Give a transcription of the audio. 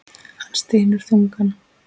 Hann stynur þungan.